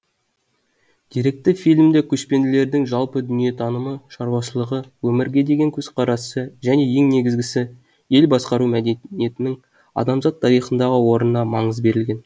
деректі фильмде көшпенділердің жалпы дүниетанымы шаруашылығы өмірге деген көзқарасы және ең негізгісі ел басқару мәдениетінің адамзат тарихындағы орынына маңыз берілген